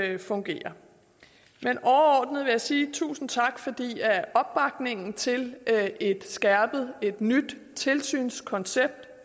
ikke fungerer men overordnet vil jeg sige tusind tak fordi opbakningen til et skærpet et nyt tilsynskoncept